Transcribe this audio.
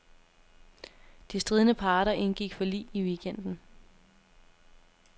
De stridende parter indgik forlig i weekenden.